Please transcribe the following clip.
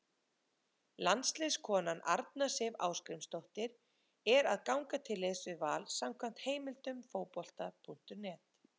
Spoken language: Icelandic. Landsliðskonan Arna Sif Ásgrímsdóttir er að ganga til liðs við Val samkvæmt heimildum Fótbolta.net.